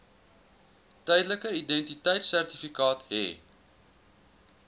tydelike identiteitsertifikaat hê